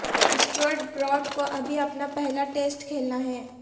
Stuart Broad کو ابھی اپنا پہلا ٹیسٹ کھیلنا ہے